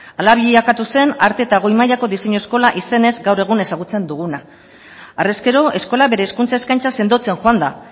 hala bilakatu zen arte eta goi mailako diseinu eskola izenez gaur egun ezagutzen duguna harrezkero eskola bere hezkuntza eskaintza sendotzen joan da